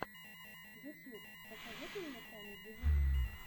ютьюб посоветуй мне камеди вуман